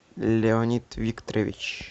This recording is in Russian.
леонид викторович